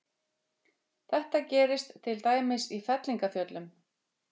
Þetta gerist til dæmis í fellingafjöllum.